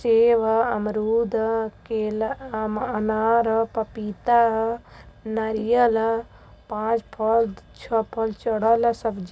Save ह अमरूद ह केला अनार ह पपीता ह नारियल ह पाच फल छ फल चढल ह। सब्जी --